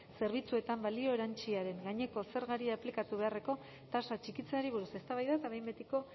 zerbitzuetan balio erantsiaren gaineko zergari aplikatu beharreko tasa txikitzeari buruz eztabaida eta behin betiko